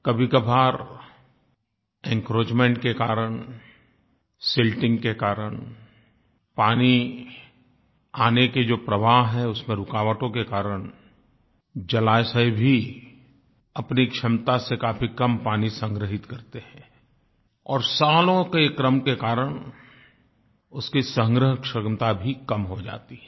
कभीकभार encroachment के कारण silting के कारण पानी आने के जो प्रवाह हैं उसमें रुकावटों के कारण जलाशय भी अपनी क्षमता से काफी कम पानी संग्रहीत करते हैं और सालों के क्रम के कारण उसकी संग्रहक्षमता भी कम हो जाती है